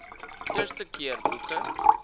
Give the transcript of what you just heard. eerste keer boeke